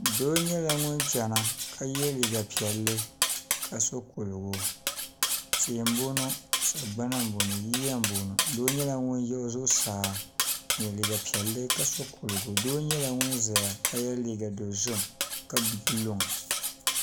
Doo nyɛla ŋun chana ka ye liiga piɛlli ka so kuligu tihi m-bɔŋɔ sagbana m-bɔŋɔ yiya m-bɔŋɔ doo nyɛla ŋun yihi zuɣusaa n-ye liiga piɛlli doo nyɛla ŋun zaya ka ye liiga dɔzim ka gbubi luŋa